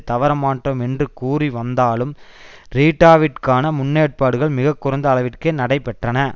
தவற மாட்டோம் என்று கூறி வந்தாலும் ரீட்டாவிற்கான முன்னேற்பாடுகள் மிக குறைந்த அளவிற்கே நடைபெற்றன